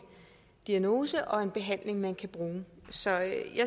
diagnose og en behandling man kan bruge så jeg